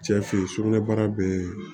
Cɛ fe ye sugunɛbara bee